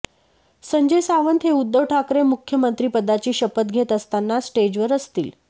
संजय सावंत हे उद्धव ठाकरे मुख्यमंत्रिपदाची शपथ घेत असताना स्टेजवर असतील